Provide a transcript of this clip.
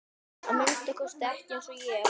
Að minnsta kosti ekki eins og ég.